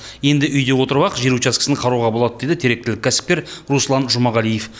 енді үйде отырып ақ жер учаскесін қарауға болады дейді теректілік кәсіпкер руслан жұмағалиев